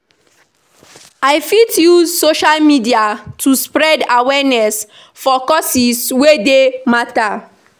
I fit use social media to spread awareness for causes wey dey matter.